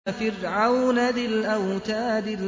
وَفِرْعَوْنَ ذِي الْأَوْتَادِ